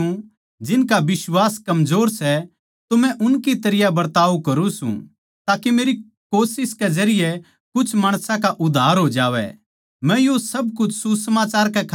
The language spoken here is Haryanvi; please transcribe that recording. जिब मै उन माणसां के गैल सूं जिनका बिश्वास कमजोर सै तो मै उनकी तरियां बरताव करुँ सूं ताके मेरी कोशिश के जरिये कुछ माणसां का उद्धार हो जावै